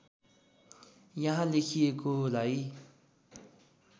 यहाँ लेखिएको लाई